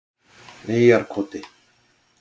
Eyjarkoti